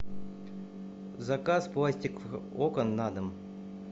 заказ пластиковых окон на дом